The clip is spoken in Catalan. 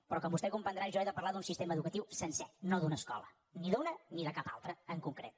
però com vostè comprendrà jo he de parlar d’un sistema educatiu sencer no d’una escola ni d’una ni de cap altra en concret